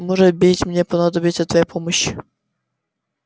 может быть мне понадобится твоя помощь